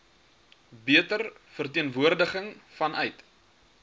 beter verteenwoordiging vanuit